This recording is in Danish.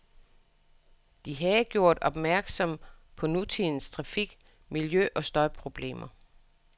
De havde gjort opmærksom på nutidens trafik, miljø- og støjproblemer.